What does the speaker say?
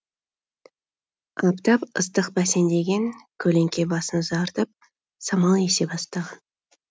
аптап ыстық бәсеңдеген көлеңке басын ұзартып самал есе бастаған